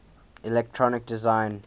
electronic design